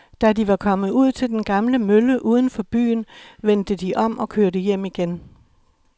Da de var kommet ud til den gamle mølle uden for byen, vendte de om og kørte hjem igen.